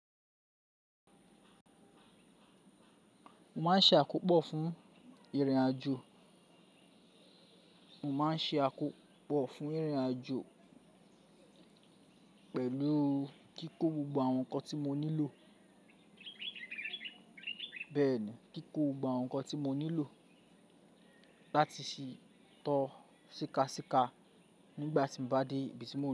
Mo máa ń ṣe àkópọ̀ fún ìrìnàjò, mo máa ń ṣe àkópọ̀ fún ìrìnàjò pẹ̀lú kíkó gbogbo àwọn ǹkan tí mo nílò. Bẹ́ẹ̀ni, kíkó gbogbo àwọn ǹkan tí mo nílò láti sì tọ́ síkasíka nígbà tí mo bá dé ibi tí mò ń rìn.